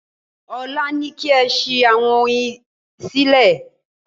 Ọ̀la ni kí ẹ sí àwọn oyin sílẹ̀